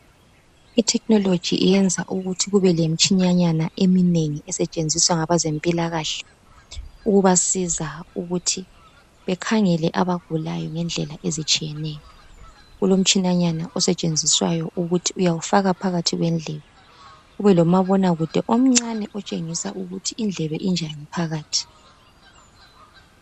Ithekhinoloji iyenza ukuthi kubelemitshina nyana eminengi esetshenziswa ngabezempilakhe ukubasiza ukuthi bekhangele abagulayo ngendlela ezitshiyeneyo kulomtshinanyana osetshenziswayo ukuthi uyawufaka phakathi kwendlebe kubelomabonakude omncane otshengisa ukuthi indlebe injani phakathi.